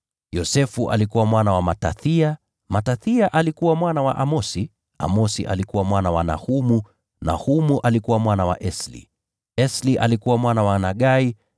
Yosefu alikuwa mwana wa Matathia, Matathia alikuwa mwana wa Amosi, Amosi alikuwa mwana wa Nahumu, Nahumu alikuwa mwana wa Esli, Esli alikuwa mwana wa Nagai,